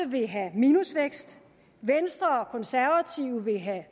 vil have minusvækst venstre og konservative vil have